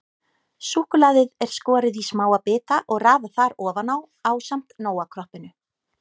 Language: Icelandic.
Súkkulaðið er skorið í smáa bita og raðað þar ofan á ásamt Nóa-kroppinu.